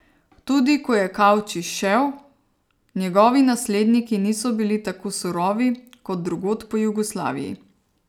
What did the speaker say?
Tudi ko je Kavčič šel, njegovi nasledniki niso bili tako surovi kot drugod po Jugoslaviji.